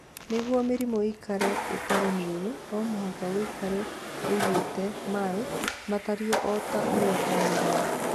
Nĩguo mĩrimũ ĩikare ĩtarĩ mĩũru, no mũhaka ũikare ũigĩte maĩ matariĩ o ta ũrĩa kwagĩrĩire.